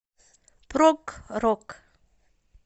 прог рок